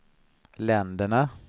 länderna